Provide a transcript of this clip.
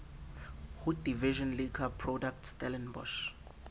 ho division liquor product stellenbosch